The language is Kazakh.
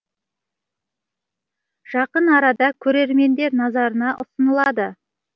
жақын арада көрермендер назарына ұсынылады